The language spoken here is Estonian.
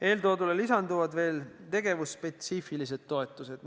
Eeltoodule lisanduvad veel tegevusspetsiifilised toetused.